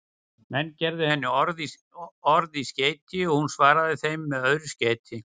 Menn gerðu henni orð í skeyti og hún svaraði þeim með öðru skeyti.